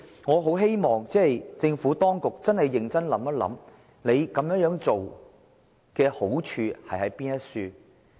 我很希望政府當局認真想想這樣做有何好處。